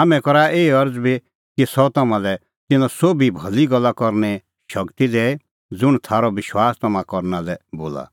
हाम्हैं करा एही अरज़ बी कि सह तम्हां लै तिन्नां सोभी भली गल्ला करने शगती दैए ज़ुंण थारअ विश्वास तम्हां करना लै बोला